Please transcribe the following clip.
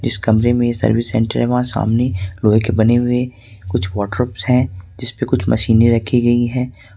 इस कमरे में सर्विस सेंटर है वहां सामने लोहे के बने हुए कुछ वर्डड्रॉप्स हैं जिसपे कुछ मशीनें रखी गई हैं।